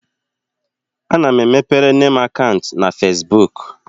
Ana m emepere nne m akaụntụ na Fesbuk.